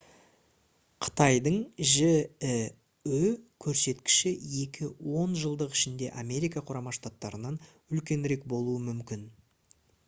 қытайдың жіө көрсеткіші екі он жылдық ішінде америка құрама штаттарынан үлкенірек болуы мүмкін